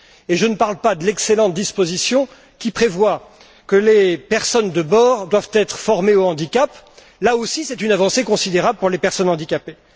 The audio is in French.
Et je ne parle pas de l'excellente disposition qui prévoit que les personnes de bord doivent être formées au handicap. Il s'agit, là aussi, d'une avancée considérable pour les personnes handicapées.